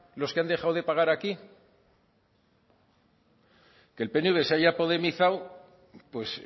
los que han dejado de pagar aquí que el pnv se haya podemizado pues